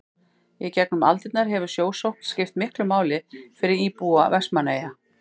í gegnum aldirnar hefur sjósókn skipt miklu máli fyrir íbúa vestmannaeyja